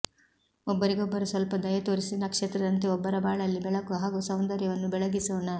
ಒಬ್ಬರಿಗೊಬ್ಬರು ಸ್ವಲ್ಪ ದಯೆ ತೋರಿಸಿ ನಕ್ಷತ್ರದಂತೆ ಒಬ್ಬರ ಬಾಳಲ್ಲಿ ಬೆಳಕು ಹಾಗೂ ಸೌಂದರ್ಯವನ್ನು ಬೆಳೆಗಿಸೋಣ